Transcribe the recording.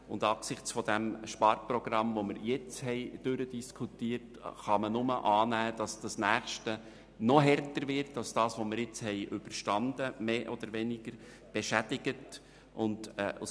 Angesichts des Sparprogramms, das wir soeben diskutiert haben, kann man nur annehmen, dass das nächste Sparrunde noch härter wird, als jene, die wir soeben mehr oder weniger beschädigt überstanden haben.